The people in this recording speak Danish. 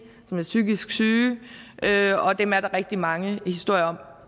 som er psykisk syge og dem er der rigtig mange historier